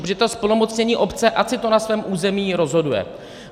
Protože ta zplnomocnění obce, ať si to na svém území rozhoduje.